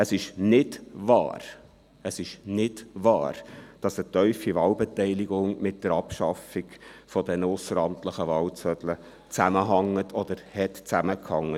Erstens: Es ist nicht wahr, dass eine tiefe Wahlbeteiligung mit der Abschaffung der ausseramtlichen Wahlzettel zusammenhängt oder zusammenhing.